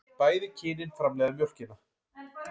Bæði kynin framleiða mjólkina.